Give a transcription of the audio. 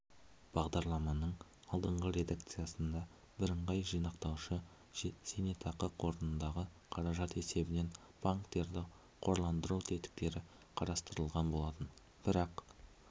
бағдарламаның алдыңғы редакциясында бірыңғай жинақтаушы зейнетақы қорындағы қаражат есебінен банктерді қорландыру тетіктері қарастырылған болатын бірақ